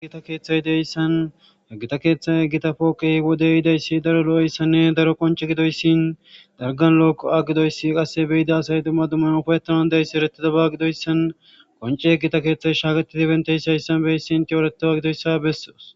gita keeththay deyssan gita keeththay gita pooqi wode yidayssi daro lo'eyssanne daro qonce gidoyssin dargan lookko a gidoyssi qasse beyida asay dumma duman ufayetanan deys eretida ba gidoyssan qoncee gita keeththay shaaketidi bentey shayssan beyssin etretidaba gidoyssa bessoos.